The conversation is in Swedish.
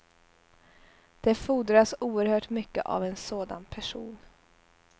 Det fordras oherhört mycket av en sådan person.